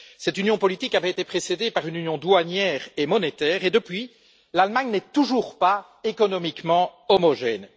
Cette union politique avait été précédée par une union douanière et monétaire et, depuis, l'Allemagne n'est toujours pas économiquement homogène.